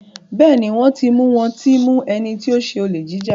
Béèni wón tí mú wón tí mú ẹní tí o ṣe Olè jíjà.